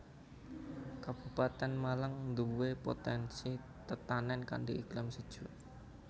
Kabupatèn Malang nduwé potènsi tetanèn kanthi iklim sejuk